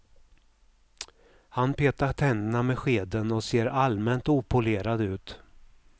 Han petar tänderna med skeden och ser allmänt opolerad ut.